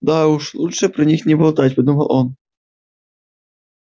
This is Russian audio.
да уж лучше про них не болтать подумал он